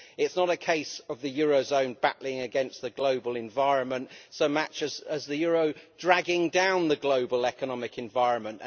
It is not a case of the eurozone battling against the global environment so much as the euro dragging down the global economic environment.